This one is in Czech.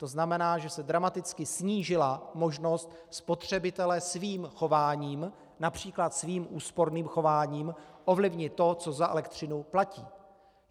To znamená, že se dramaticky snížila možnost spotřebitele svým chováním, například svým úsporným chováním, ovlivnit to, co za elektřinu platí.